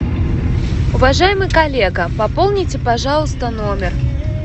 уважаемый коллега пополните пожалуйста номер